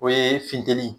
O ye funteni